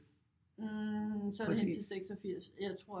Så er det hen til 86 jeg tror